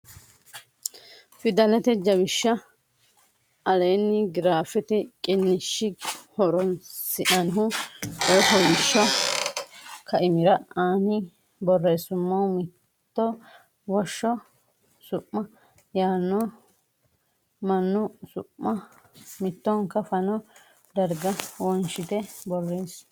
fidalete jawishsha aleenni giraafete qiniishshi horonsi nannihu coy fooliishsho kaimira ani borreessummo mitto woshsho su ma yaano mannu su ma mittonka fano darga wonshitine borreesse.